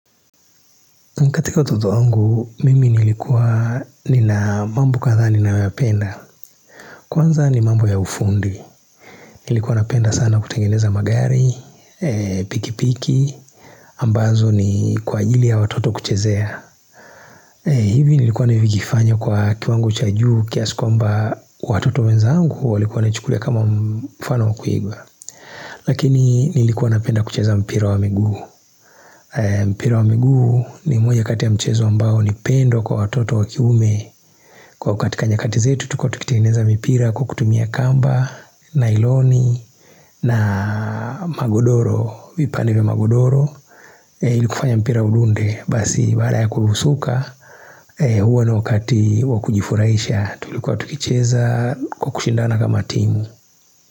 Katika utoto wangu, mimi nilikuwa nina mambo kadhaa ninayoyapenda. Kwanza ni mambo ya ufundi. Nilikuwa napenda sana kutengeneza magari, pikipiki, ambazo ni kwa ajili ya watoto kuchezea. Hivi nilikuwa nivikifanya kwa kiwangu chajuu kiasi kwamba watoto wenzangu walikuwa wanaichukulia kama mfano wa kuigwa. Lakini nilikuwa napenda kuchezea mpira wa miguu. Mpira wa miguu ni moja kati ya mchezo ambao ni pendo kwa watoto wa kiume Kwa katika nyakati zetu tulikua tukitengeneza mipira kwa kutumia kamba, nailoni na magodoro vipande vya magodoro ili kufanya mpira udunde basi baada ya kuusuka Huwa ni wakati wa kujifuraisha tulikuwa tukicheza kwa kushindana kama timu.